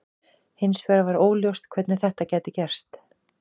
Hins vegar var óljóst hvernig þetta gæti gerst.